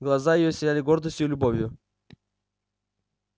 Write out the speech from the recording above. глаза её сияли гордостью и любовью